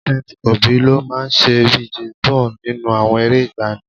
Saint Obi ló máa ń ṣe bíi James Bond nínú àwọn eré ìgbàanì